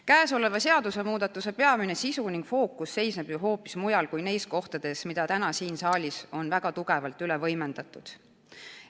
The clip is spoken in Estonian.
Käesoleva seadusemuudatuse peamine sisu ning fookus on ju hoopis mujal kui neis kohtades, mida täna siin saalis on väga tugevalt üle võimendatud.